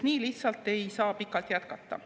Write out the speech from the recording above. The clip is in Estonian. Nii lihtsalt ei saa pikalt jätkata.